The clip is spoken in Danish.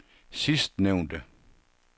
sidstnævnte